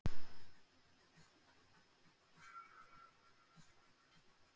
Þegar fólk kvefast sýkist slímhúðin og bólgnar.